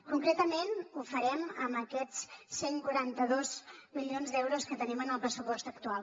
concretament ho farem amb aquests cent i quaranta dos milions d’euros que tenim en el pressupost actual